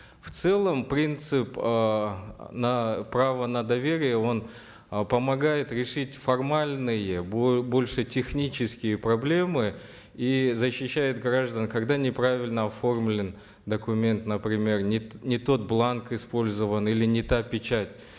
в целом принцип эээ на право на доверие он э помогает решить формальные больше технические проблемы и защищает граждан когда неправильно оформлен документ например не не тот бланк использован или не та печать